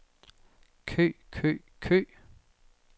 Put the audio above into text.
kø kø kø